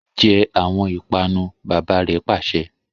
Je awọn ipanu! baba re pase